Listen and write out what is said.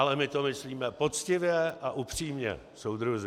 Ale my to myslíme poctivě a upřímně, soudruzi.